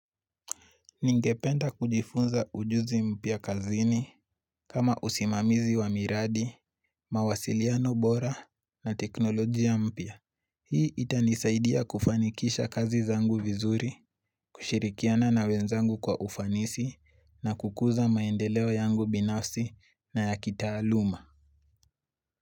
Ningependa kujifunza ujuzi mpya kazini kama usimamizi wa miradi, mawasiliano bora na teknolojia mpya. Hii itanisaidia kufanikisha kazi zangu vizuri, kushirikiana na wenzangu kwa ufanisi na kukuza maendeleo yangu binafsi na ya kitaaluma.